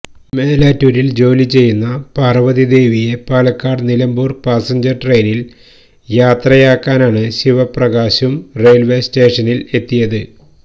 മേലാറ്റൂരില് ജോലിചെയ്യുന്ന പാര്വ്വതിദേവിയെ പാലക്കാട്നിലമ്പൂര് പാസഞ്ചര് ട്രെയിനില് യാത്രയാക്കാനാണ് ശിവപ്രകാശും റെയില്വേ സ്റ്റേഷനില് എത്തിയത്